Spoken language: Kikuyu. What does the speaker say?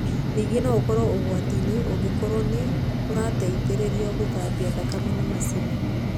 Ningĩ no ũkorwo ũgwati-inĩ ũngĩkorwo nĩ ũrateithĩrĩrio gũthambia thakame nĩ macini.